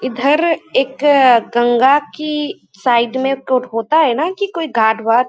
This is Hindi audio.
इधर एक गंगा की साइड में कठोता है ना कि कोई घाट भाट--